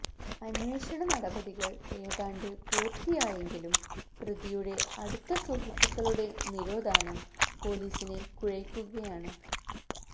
അന്വേഷണ നടപടികള് ഏതാണ്ട് പൂര്ത്തിയായെങ്കിലും പ്രതിയുടെ അടുത്ത സുഹൃത്തുക്കളുടെ നിരോധാനം പോലീസിനെ കുഴയ്ക്കുകയാണ്